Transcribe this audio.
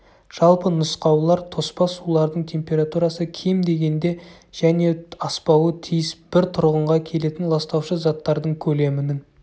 жалпы нұсқаулар тоспа сулардың температурасы кем дегенде және аспауы тиіс бір тұрғынға келетін ластаушы заттардың көлемінің